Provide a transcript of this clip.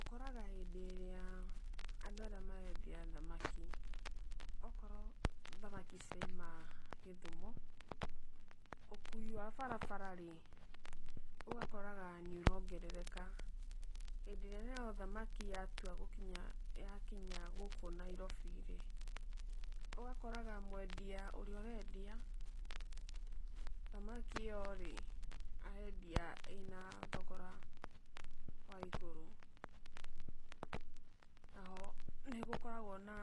Ũkoraga hĩndĩ ĩrĩa andũ arĩa marendia thamaki, okorwo thamaki cirauma Gĩthumo, ũkũi wa barabara rĩ, ũgakoraga nĩ ũrongerereka, hindĩ ĩrĩa nayo thamaki yatua gũkinya yakinya gũkũ Nairobi rĩ, ũgakoraga mwendia ũrĩa ũrendia thamaki ĩyo rĩ arendia ĩ na thogora wa igũrũ. Na ho nĩgũkoragwo na